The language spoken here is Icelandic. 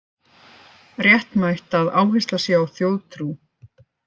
Réttmætt að áhersla sé á þjóðtrú